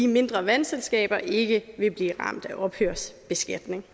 mindre vandselskaber ikke vil blive ramt af ophørsbeskatning